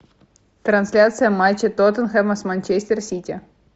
трансляция матча тоттенхэма с манчестер сити